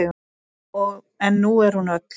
En nú er hún öll.